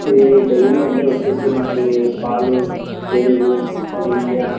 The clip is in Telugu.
ఇది డైరి అండి ఒచ్చేసి మనకి పాలు పెరుగు నెయ్య --